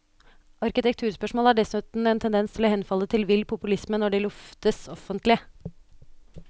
Arkitekturspørsmål har dessuten en tendens til å henfalle til vill populisme når de luftes offentlig.